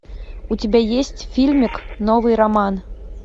у тебя есть фильмик новый роман